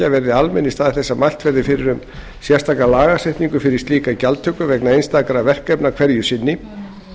verði almenn í stað þess að mælt verði fyrir um sérstaka lagasetningu fyrir slíka gjaldtöku vegna einstakra verkefna hverju sinni